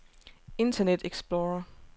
internet explorer